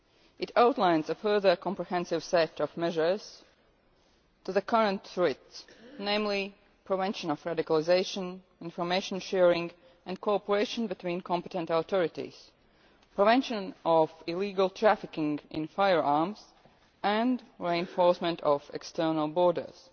It outlines a further comprehensive set of measures to address the current threat namely, prevention of radicalisation, information sharing and cooperation between competent authorities, prevention of illegal trafficking in firearms, and the reinforcement of external borders.